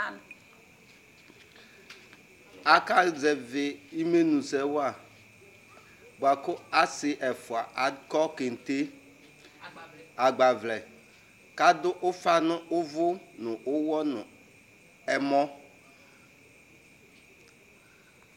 Akazɛvi imenu sɛ wa bua kʋ asi ɛfua akɔ keŋte, agbavlɛ , kʋ adʋ ʋfa nʋ uvʋ, nu ʋwɔ, nu ɛmɔ